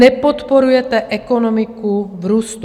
Nepodporujete ekonomiku v růstu.